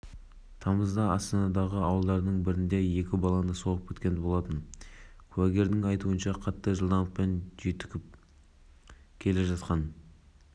прокурор екі жыл бас бостандығынан айыру жазасын сұраған болатын мен соттан қатаң жазалауды сұраған едім меніңше берілген жаза әділ болды деп